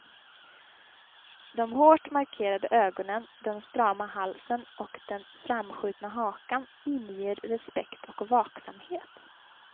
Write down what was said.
De hårt markerade ögonen, den strama halsen och den framskjutna hakan inger respekt och vaksamhet.